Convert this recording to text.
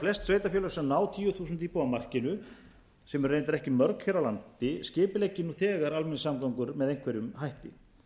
flest sveitarfélög sem ná tíu þúsund íbúa markinu sem eru reyndar ekki mörg hér á landi skipuleggi nú þegar almenningssamgöngur með einhverjum hætti